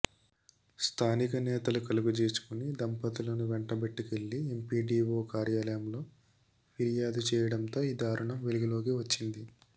స్థానిక నేతలు కలుగజేసుకుని దంపతులను వెంటబెట్టుకెళ్లి ఎంపీడీవో కార్యాలయంలో ఫిర్యాదు చేయడంతో ఈ దారుణం వెలుగులోకి వచ్చింది